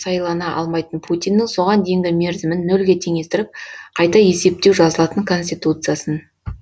сайлана алмайтын путиннің соған дейінгі мерзімін нөлге теңестіріп қайта есептеу жазылатын конституциясын